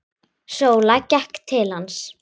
Sóla gekk til hans.